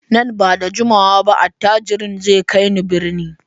Nan ba da jimawa ba attajirin zai kai ni birni.